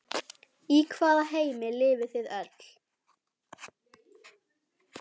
Í hvaða heimi lifið þið öll?